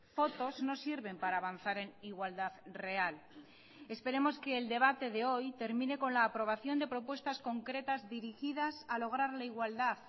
fotos no sirven para avanzar en igualdad real esperemos que el debate de hoy termine con la aprobación de propuestas concretas dirigidas a lograr la igualdad